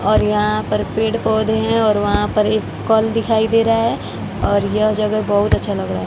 और यहां पर पेड़ पौधे हैं और वहां पर एक कल दिखाई दे रहा है और यह जगह बहूत अच्छा लग रहा है।